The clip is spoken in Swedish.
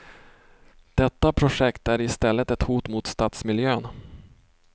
Detta projekt är i stället ett hot mot stadsmiljön.